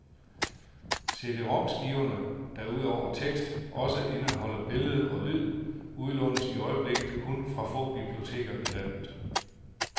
CD rom skiverne, der ud over tekst også indeholder billed og lyd, udlånes i øjeblikket kun fra få biblioteker i landet.